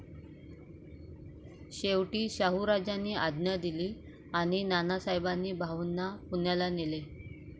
शेवटी शाहूराजांनी आज्ञा दिली आणि नानासाहेबांनी भाऊंना पुण्याला नेले.